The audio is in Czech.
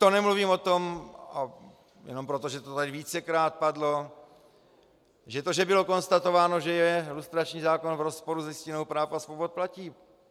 To nemluvím o tom, jenom proto, že to tady vícekrát padlo, že to, že bylo konstatováno, že je lustrační zákon v rozporu s Listinou práv a svobod, platí.